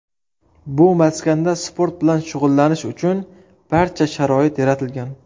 Bu maskanda sport bilan shug‘ullanish uchun barcha sharoit yaratilgan.